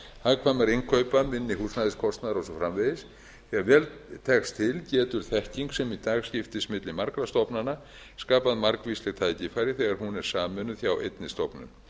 hagkvæmari innkaupa minni húsnæðiskostnaðar og svo framvegis þegar vel tekst til getur þekking sem í dag skiptist milli margra stofnana skapað margvísleg tækifæri þegar hún er sameinuð hjá einni stofnun